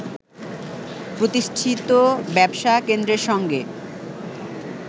প্রতিষ্ঠিত ব্যবসা কেন্দ্রের সঙ্গে